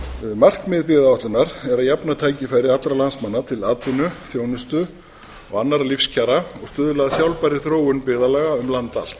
markmið byggðaáætlunar er að jafna tækifæri allra landsmanna til atvinnu þjónustu og annarra lífskjara og stuðla að sjálfbærri þróun byggðarlaga um land allt